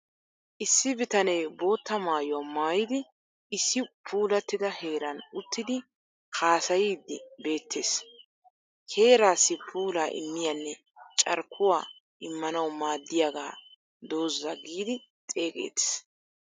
Issi bitanee bootta maayuwaa maayidi issi puulattida heeran uttidi haasayyiddi beettes. Heerassi puulaa immiyanne carkkuwa immanawu maaddiyaagaa doozaa giidi xeegeettes.